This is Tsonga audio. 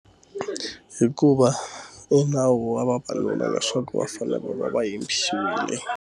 Hikuva e nawu wa vavanuna leswaku va fanele va va yimbisile.